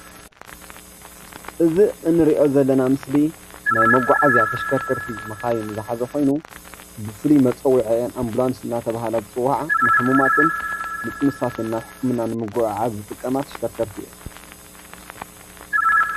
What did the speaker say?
እዚ እንሪኦ ዘለና ምስሊ ናይ መጓዓዝያ ተሽከርከርቲ መካይን ዝሓዘ ኮይኑ ብፉሉይ መፀዊዒአን ኣምቡላንስ እናተባሃላ ዝፅወዓ ንሑሙማትን ንጥኑሳትን ናብ ሕክምና ብምጉዕዓዝ ዝጥቀማ ተሽከርከርቲ እየን፡፡